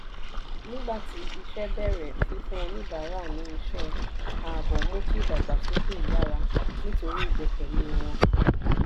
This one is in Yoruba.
nígbà tí iṣẹ́ bẹ̀rẹ̀ fífún oníbàárà ní iṣẹ́ ààbò mú kí ìdàgbàsókè yára nítorí ìgbẹ́kẹ̀lé wọn.